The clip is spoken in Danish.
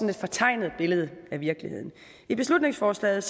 et fortegnet billede af virkeligheden i beslutningsforslaget